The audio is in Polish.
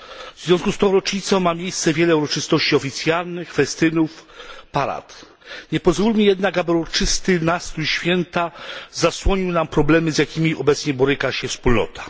W związku z tą rocznicą odbywa się wiele uroczystości oficjalnych, festynów, parad. Nie pozwólmy jednak, aby uroczysty nastrój święta zasłonił nam problemy, z jakimi obecnie boryka się Wspólnota.